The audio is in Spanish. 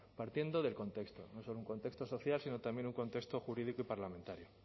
partiendo del contexto no solo un contexto social sino también un contexto jurídico y parlamentario